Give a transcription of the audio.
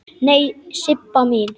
Nei, Sibba mín.